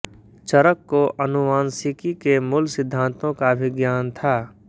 चरक को आनुवांशिकी के मूल सिद्धान्तों का भी ज्ञान था